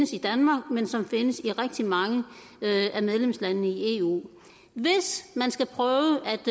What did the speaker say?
ses i danmark men som ses i rigtig mange af medlemslandene i eu hvis man skal prøve